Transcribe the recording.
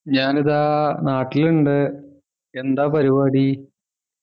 ഞാനിതാ നാട്ടിലുണ്ട് എന്താ പരിപാടി